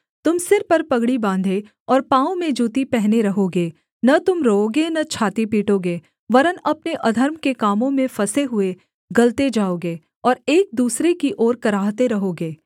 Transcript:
तुम सिर पर पगड़ी बाँधे और पाँवों में जूती पहने रहोगे न तुम रोओगे न छाती पीटोगे वरन् अपने अधर्म के कामों में फँसे हुए गलते जाओगे और एक दूसरे की ओर कराहते रहोगे